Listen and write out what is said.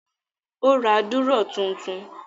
Ó ra dúrọ́à tuntun?